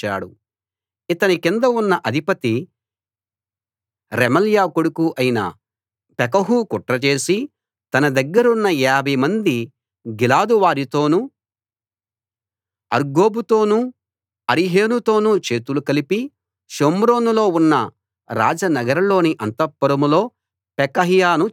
ఇతని కింద ఉన్న అధిపతీ రెమల్యా కొడుకూ అయిన పెకహు కుట్ర చేసి తన దగ్గరున్న 50 మంది గిలాదు వారితోనూ అర్గోబుతోనూ అరీహేనుతోనూ చేతులు కలిపి షోమ్రోనులో ఉన్న రాజ నగరులోని అంతఃపురంలో పెకహ్యాను చంపి అతని స్థానంలో రాజయ్యాడు